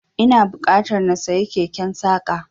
Ina buƙatar na siyi keken saƙa.